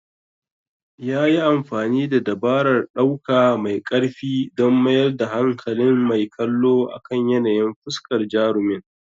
Yayi amfani da dabarar ɗauka mai karfi don mayar da hankalin mai kallo akan yanayin fuskar jarumin.